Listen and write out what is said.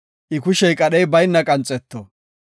I kushey qadhey bayna qanxeto.